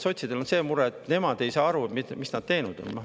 Sotsidel on see mure, et nemad ei saa aru, mis nad teinud on.